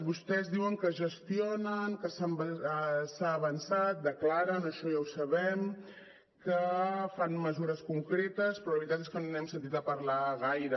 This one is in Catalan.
vostès diuen que gestionen que s’ha avançat declaren això ja ho sabem que fan mesures concretes però la veritat és que no n’hem sentit a parlar gaire